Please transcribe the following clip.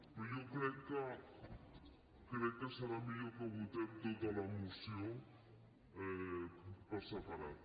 però jo crec que serà millor que votem tota la moció per separat